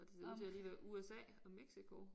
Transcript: Og det ser ud til lige at være USA og Mexico